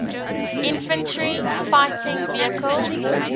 infantry fighting vehicles